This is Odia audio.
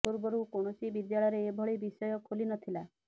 ପୂର୍ବରୁ କୌଣସି ବିଦ୍ୟାଳୟରେ ଏଭଳି ବିଷୟ ଖୋଲି ନ ଥିଲା